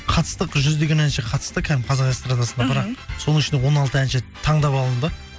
қатыстық жүздеген әнші қатысты кәдімгі қазақ эстрадасынан бірақ соның ішінен он алты әнші таңдап алынды